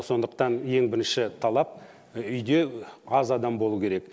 сондықтан ең бірінші талап үйде аз адам болу керек